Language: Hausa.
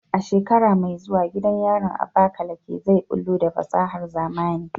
A shekara mai zuwa, gidan yarin Abakaleke zai bullo da fasahar zamani.